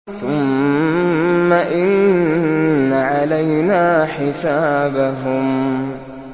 ثُمَّ إِنَّ عَلَيْنَا حِسَابَهُم